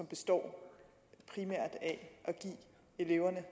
består i at give eleverne